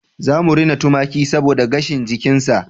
Za mu rena tumaki saboda gashin jikinsa